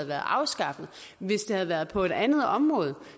været afskaffet hvis det havde været på et andet område